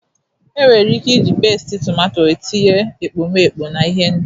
Enwere ike iji pesiti tomato etinye ekpomeekpo na ihendori.